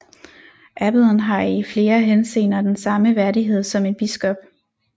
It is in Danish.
Abbeden har i flere henseender den samme værdighed som en biskop